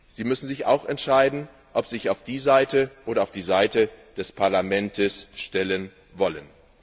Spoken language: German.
Sie müssen sich auch entscheiden, ob Sie sich auf die Seite des Rates oder auf die Seite des Parlaments stellen wollen.